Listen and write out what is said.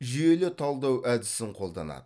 жүйелі талдау әдісін қолданады